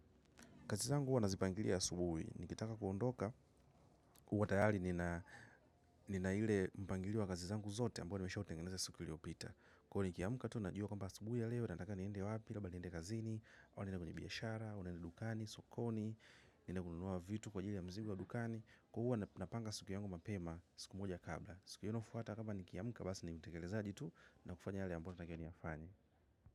Kazi zangu huwa nazipangilia asubuhi nikitaka kuondoka huwa tayari nina ile mpangilio wa kazi zangu zote ambao nishautengeneza siku iliyopita. Kwa hio ni kiamka tu najua kamba asubuhi ya leo, nataka niende wapi, labda niende kazini, au niende kwenye biashara, au niende dukani, sokoni, niende kununua vitu kwa jili ya mzigo wa dukani. Huwa napanga siku yangu mapema, siku moja kabla. Siku inayofuata kama ni kiamka basi ni utekelezaji tu na kufanya yale ambaya natakiwa ni yafanye.